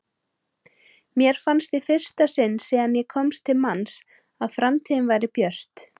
Mér fannst í fyrsta sinn síðan ég komst til manns að framtíðin væri björt.